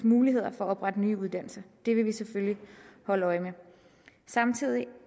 muligheder for at oprette nye uddannelser det vil vi selvfølgelig holde øje med samtidig